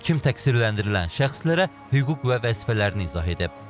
Hakim təqsirləndirilən şəxslərə hüquq və vəzifələrini izah edib.